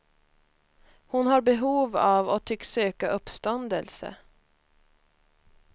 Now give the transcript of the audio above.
Hon har behov av och tycks söka uppståndelse.